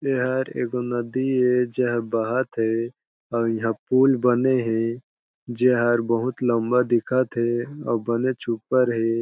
एहर एगो नदी ए जे बहत हे अउ इहा पुल बने हे जेहर बहुत लम्बा दिखत हे अउ बनेच ऊपर हे।